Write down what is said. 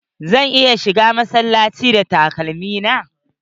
Zan iya shiga cikin masallaci da takalmi na?